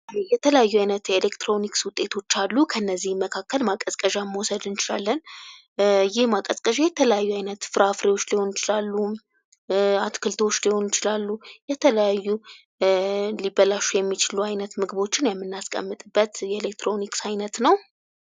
የተለያዩ አይነት የኤሌክትሮኒክስ ውጤቶች አሉ ከነዚህም መካከል ማቀዝቀዣ መውሰድ እንችላለን ይህ የተለያዩ አይነት ፍራፍሬዎችን እና ትክልቶች ሊሆኑ ይችላሉ ና የተለያዩ የሚበላሹ አይነት ምግቦችን ና ልናስቀምጥበት የምንችል አይነት ነው።